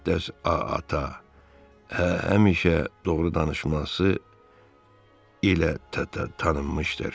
Müqəddəs ata həmişə doğru danışması ilə tanınmışdır.